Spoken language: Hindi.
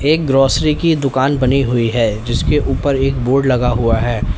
एक ग्रोसरी की दुकान बनी हुई है जिसके ऊपर एक बोर्ड लगा हुआ है।